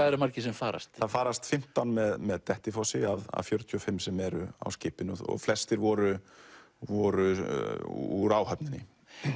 eru margir sem farast það farast fimmtán með með Dettifossi af fjörutíu og fimm sem eru á skipinu og flestir voru voru úr áhöfninni